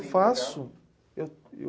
eu faço.